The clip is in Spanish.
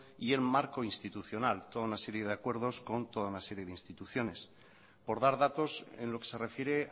y el marco institucional toda una serie de acuerdos con toda serie de instituciones por dar datos en lo que se refiere